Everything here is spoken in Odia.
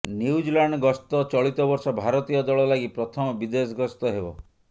ନ୍ୟୁଜିଲାଣ୍ଡ ଗସ୍ତ ଚଳିତ ବର୍ଷ ଭାରତୀୟ ଦଳ ଲାଗି ପ୍ରଥମ ବିଦେଶ ଗସ୍ତ ହେବ